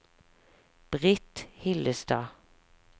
Britt Hillestad